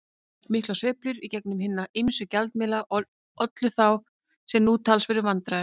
Miklar sveiflur í gengi hinna ýmsu gjaldmiðla ollu þá, sem nú, talsverðum vandræðum.